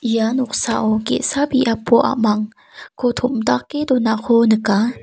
ia noksao ge·sa biapo a·mangko tom·dake donako nika.